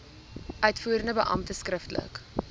uitvoerende beampte skriftelik